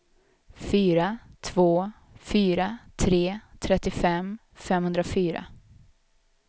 fyra två fyra tre trettiofem femhundrafyra